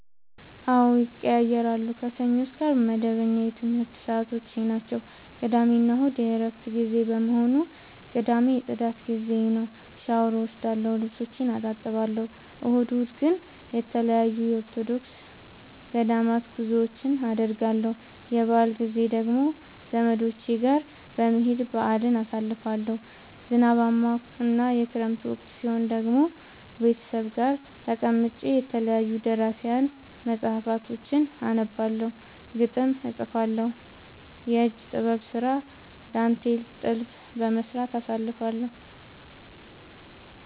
አዎድ ይቀየያራሉ። ከሰኞ እስከ አርብ መደበኛ የትምረት ሰዓቶቼናቸው ቅዳሜና እሁድ የእረፍት ጊዜ በመሆኑ። ቅዳሜ የፅዳት ጊዜዬ ነው። ሻውር እወስዳለሁ ልብሶቼን አጥባለሁ። እሁድ እሁድ ግን ተለያዩ የኦርቶዶክስ ገዳማት ጉዞወችን አደርገለሁ። የበአል ጊዜ ደግሞ ዘመዶቼ ጋር በመሄድ በአልን አሳልፋለሁ። ዝናባማ እና የክረምት ወቅት ሲሆን ደግሞ ቤተሰብ ጋር ተቀምጬ የተለያዩ ደራሲያን መፀሀፍቶችን አነባለሁ፤ ግጥም እጥፋለሁ፤ የእጅ ጥበብ ስራ ዳንቴል ጥልፍ በመስራት አሳልፍለሁ።